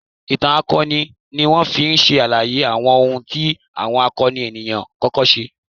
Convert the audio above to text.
Ìtàn akọni ni wọ́n fi ń ṣàlàyé àwọn ohun tí àwọn akọni ènìyàn kọ̀ọ̀kan ṣe.